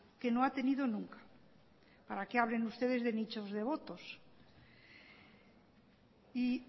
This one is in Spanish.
que no ha tenido nunca para que hablen ustedes de nichos devotos y